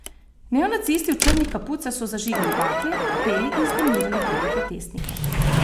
Neonacisti v črnih kapucah so zažigali bakle, peli in vznemirjali druge protestnike.